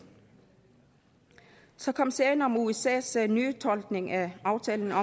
så kom sagen om usas nytolkning af aftalen